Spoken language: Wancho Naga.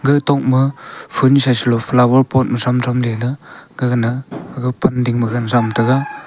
gatok ma phoon sa selo flower pot ma shrum thram lela gagana haga pan ding ma gan thram taiga.